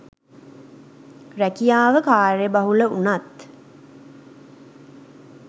රැකියාව කාර්යබහුල වුණත්